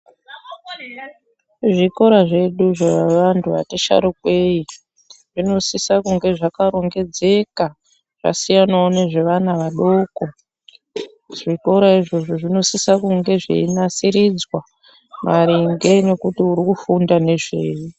Zvikora zvedu zvevantu vati sharukei zvinosisa kunge zvakarongedzeka zvasiyanawo nezvevana vadoko zvikora izvozo zvinosisa kunge zveinasiridzwa maringe nekuti urikufunda nezvei .